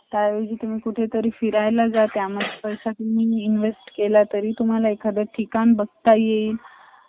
त moscow मधे आम्ही होतो दोन तीन दिवस red square मधे फिरलो तिथं ते बरंच काही ए बघण्यासारख moscow मधे पण अं मोठ्यामोठ्या hotel a red square ए buildings एत छान आणि पूर्ण दुसरं म्हणजे आणि ती pushkin